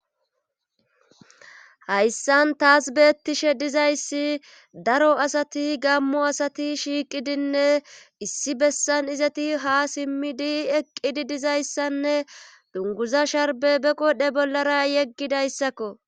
hayssan taas beettishe dizayssi daro asati gammo. asati shiiqidinne issi bessan izati ha simmidi eqqidi dizayssanne dunguza sharbe be godhe bollara yeggidayssakko